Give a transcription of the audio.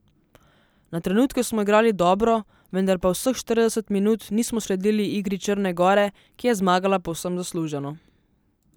Na trenutke smo igrali dobro, vendar pa vseh štirideset minut nismo sledili igri Črne gore, ki je zmagala povsem zasluženo.